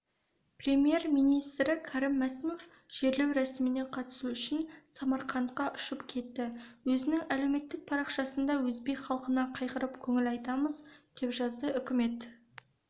премьер-министрі кәрім мәсімов жерлеу рәсіміне қатысу үшін самарқандқа ұшып кетті өзінің әлеуметтік парақшасында өзбек халқына қайғырып көңіл айтамыз деп жазды үкімет